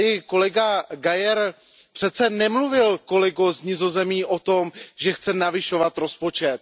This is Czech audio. Kolega Geier přece nemluvil, kolego z Nizozemska, o tom, že chce navyšovat rozpočet.